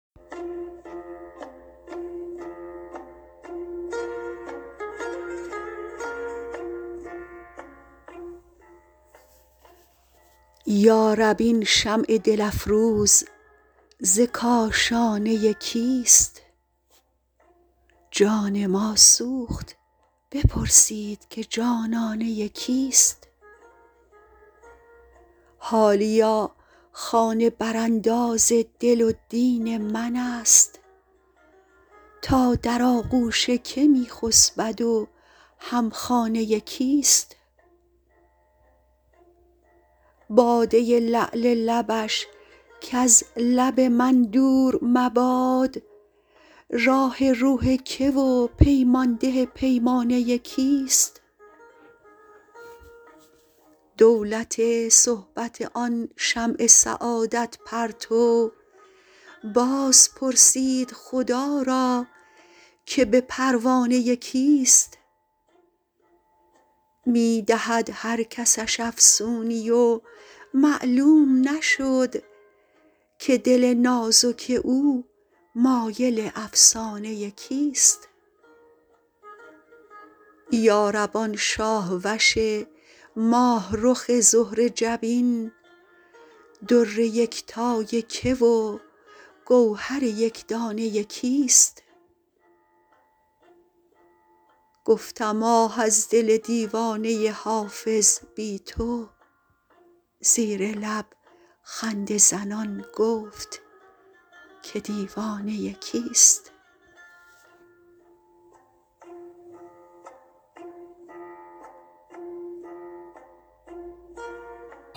یا رب این شمع دل افروز ز کاشانه کیست جان ما سوخت بپرسید که جانانه کیست حالیا خانه برانداز دل و دین من است تا در آغوش که می خسبد و هم خانه کیست باده لعل لبش کز لب من دور مباد راح روح که و پیمان ده پیمانه کیست دولت صحبت آن شمع سعادت پرتو باز پرسید خدا را که به پروانه کیست می دهد هر کسش افسونی و معلوم نشد که دل نازک او مایل افسانه کیست یا رب آن شاه وش ماه رخ زهره جبین در یکتای که و گوهر یک دانه کیست گفتم آه از دل دیوانه حافظ بی تو زیر لب خنده زنان گفت که دیوانه کیست